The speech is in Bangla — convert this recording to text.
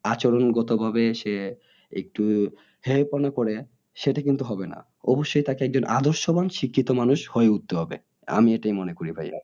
আচরণ গত ভাবে সে একটু করে সেটা কিন্তু হবে না। অবশ্যই তাকে একজন আদর্শবান শিক্ষিত মানুষ হয়ে উঠতে হবে। আমি এটাই মনে করি ভাইয়া।